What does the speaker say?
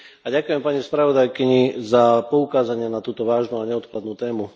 ďakujem pani spravodajkyni za poukázanie na túto vážnu a neodkladnú tému.